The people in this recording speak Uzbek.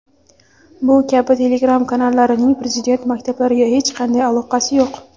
bu kabi telegram kanallarining Prezident maktablariga hech qanday aloqasi yo‘q.